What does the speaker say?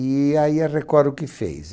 E aí a Record o que fez?